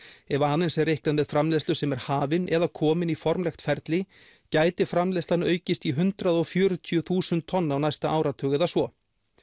ef aðeins er reiknað með framleiðslu sem er hafin eða komin í formlegt ferli gæti framleiðslan aukist í hundrað og fjörutíu þúsund tonn á næsta áratug eða svo